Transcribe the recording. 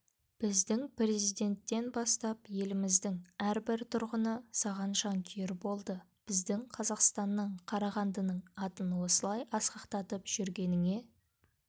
біздің президенттен бастап еліміздің әрбір тұрғыны саған жанкүйер болды біздің қазақстанның қарағандының атын осылай асқақтатып жүргеніңе